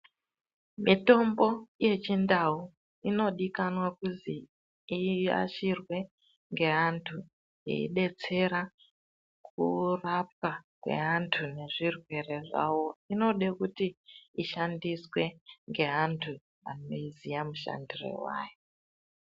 Mitombo yechindau inodikanwa kuzi iashirwe ngeantu eibetsera kurapa kweantu nezvirwere zvawo inode kuti ishandiswe ngeantu anoiziya mushandire wayo.